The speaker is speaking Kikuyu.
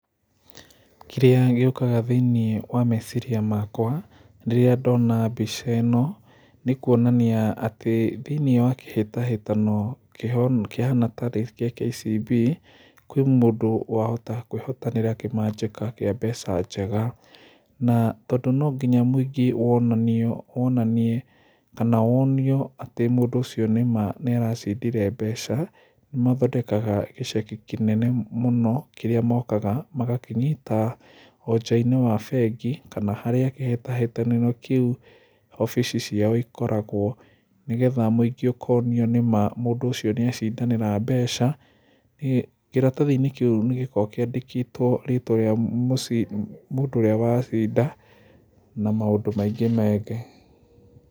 Kĩrĩa gĩũkaga thĩinĩ wa meciria makwa rĩrĩa ndona mbica ĩno, nĩkuonania atĩ thĩinĩ wa kĩhĩtahĩtano kĩhaana tarĩ gĩa KCB,kwĩ mũndũ wahota kwĩhotanĩra kĩmanjĩka kĩa mbeca njega, na tondũ nonginya mũingĩ wonanie kana wonio atĩ mũndũ ũcio nĩma nĩaracindire mbeca, mathondekaga gĩceki kĩnene mũno kĩrĩa mookaga magakĩnyita o nja-inĩ wa bengi kana harĩa kĩhĩtahĩtanĩro kĩu obici ciao ikoragwo, nĩgetha mũingĩ ũkonio nĩma mũndũ ũcio nĩecindanĩra mbeca, hihi kĩratathi-inĩ kĩu nĩgĩkoragwo kĩandĩkĩtwo rĩtwa rĩa mũndũ ũrĩa wacinda na maũndũ maingĩ maingĩ.